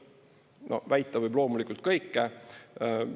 No väita võib loomulikult kõike.